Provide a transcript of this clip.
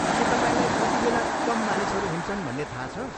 के तपाईँलाई कतिबेला कम मानिसहरू हुन्छन् भन्ने थाहा छ?